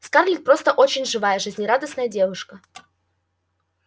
скарлетт просто очень живая жизнерадостная девушка